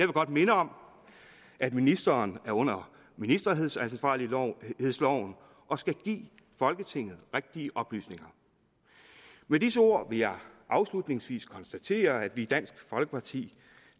godt minde om at ministeren taler under ministeransvarsloven og skal give folketinget rigtige oplysninger med disse ord vil jeg afslutningsvis konstatere at vi i dansk folkeparti